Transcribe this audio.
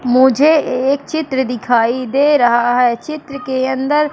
मुझे एक चित्र दिखाई दे रहा है चित्र के अंदर--